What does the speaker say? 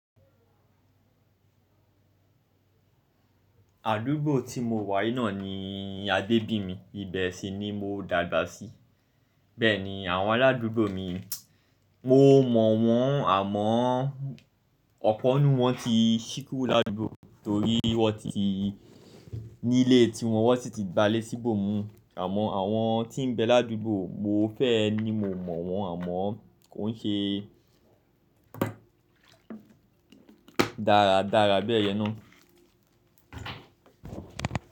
Àdúgbò tí mo wà yìí náà ni a gbé bí mi, ibẹ̀ sì ni mo dàgbà sí. Bẹ́ẹ̀ni àwọn aládùúgbò mi, mo mọ̀ wọ́n àmọ́ ọ̀pọ̀ n nú wọ́n ti sí kúrò ládùúgbò torí wọ́n ti nílé tí wọn wọ́n sì ti gbalé síbò mi. Àmọ́ àwọn tí ń bẹ ládùúgbò mo fẹ́ ni mo mọ̀ wọ́n àmọ́ kò ń ṣe dáradára bẹ́ẹ̀ yẹn ná.